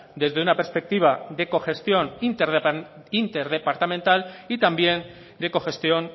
desde una perspectiva de cogestión interdepartamental y también de cogestión